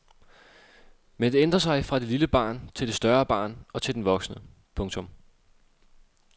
Men det ændrer sig fra det lille barn til det større barn og til den voksne. punktum